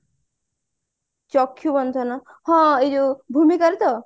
ଚକ୍ଷ୍ଯୁ ବନ୍ଧନ ହଁ ଏଇ ଯୋଉ ଭୂମିକାର ତ